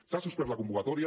s’ha suspès la convocatòria